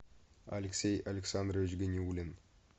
алексей александрович ганиуллин